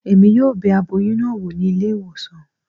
Emi yóò bẹ aboyún náà wò ní ilé ìwòsàn